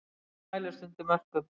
Flúor mælist undir mörkum